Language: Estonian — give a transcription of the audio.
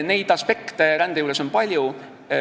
Neid aspekte on rände juures palju.